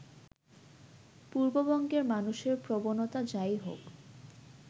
পূর্ববঙ্গের মানুষের প্রবণতা যাই হোক